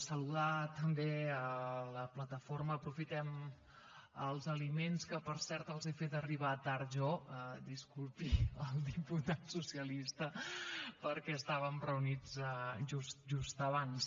saludar també la plataforma aprofitem els aliments que per cert els he fet arribar tard jo disculpi el diputat socialista perquè estàvem reunits just abans